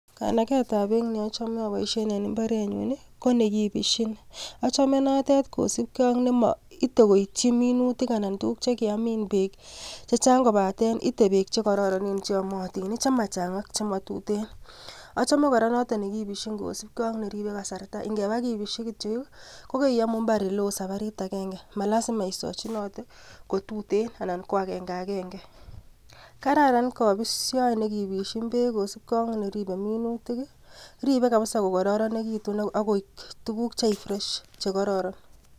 Kanagetab beek neochome aboishien en imbarenyun konekibisyiin, achome notet kosiibgee ak neite koityii minutik anan kotuguuk chekiamin beek chechang, kobaten itee beek chekororon chromatin chemachang missing ak chemotuten, achome kora notion nekibisyiin kosiibge ak neribe kasarta neingebaa ikibisyii KO keiyomu imbar eleo sabarit agenge malazima isochinotee kotuten anan ko agenge agenge, kararan kobisyoet nekobisyiin beek kosibge ak neribe minutik, ribe kabisa kokororonitun ak koik tukuk cheifresh chekororon